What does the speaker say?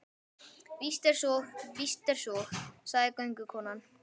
Víst er svo, víst er svo, sagði göngukonan.